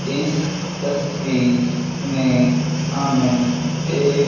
इस तस्वीर में हमें एक--